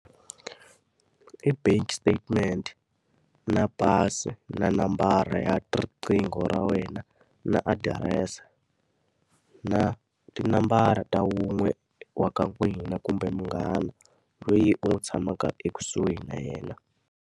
I bank statement, na pasi, na nambara ya riqingho ra wena, na adirese. Na tinambara ta wun'we wa ka n'wina kumbe munghana, loyi u n'wi tshamaka ekusuhi na yena.